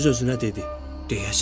Öz-özünə dedi: